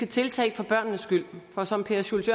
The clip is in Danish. tiltag for børnenes skyld for som per schultz